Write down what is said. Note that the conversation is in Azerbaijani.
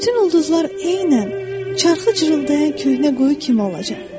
Bütün ulduzlar eynən çarxı cırıldayan köhnə quyu kimi olacaq.